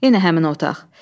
Yenə həmin o otaq.